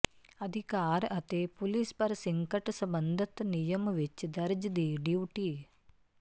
ਅਧਿਕਾਰ ਅਤੇ police precinct ਸੰਬੰਧਤ ਨਿਯਮ ਵਿਚ ਦਰਜ ਦੀ ਡਿਊਟੀ